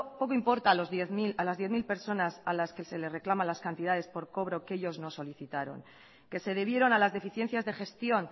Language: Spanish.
poco importa a las diez mil personas a las que se les reclama las cantidades por cobro que ellos nos solicitaron que se debieron a las deficiencias de gestión